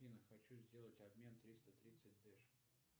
афина хочу сделать обмен триста тридцать дэш